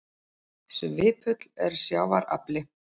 Svipull er sjávar afli.